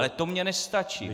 Ale to mně nestačí.